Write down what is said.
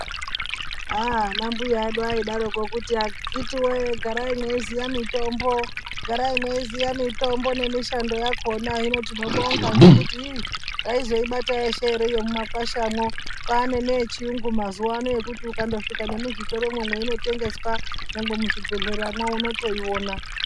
Ana mbuya edu aidaroko kuti akhitiwee garai meiziya mitombo nemushando yakona tinobonga nekuti taizoibata yeshe ere mumakwashamo kwane yechiyungu mazuwa ano kuti ukasvika nemuzvitoro mo mainotengeswa kana muzvibhehleyamo. unotoiona.